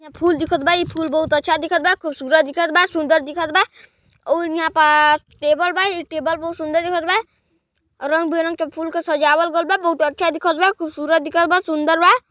यहाँ फूल दिखत बा ई फूल बहुत अच्छा दिखत बा खूबसूरत दिखल बा सुंदर दिखत बा अच्छा दिखत बा और यहाँ पास टेबल बा औ ए टेबल बा रंग बिरंग फूल के सजावट दिखल बा खूबसूरत दिखल बा सुंदर दिखल बा--